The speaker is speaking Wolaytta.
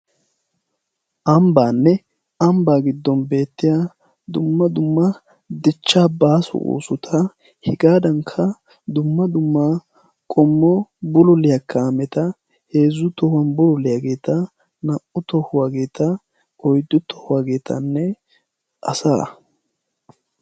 ambbaanne ambbaa giddon beettiya dumma dumma dichcha baasu oosuta hegaadankka dumma dumma qommo buloliyaa kaameta heezzu tohuwan buloliyaageeta naa''u tohuwaageeta oyddu tohuwaageetanne asa